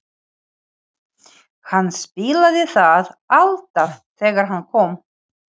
Hann spilaði það alltaf þegar hann kom.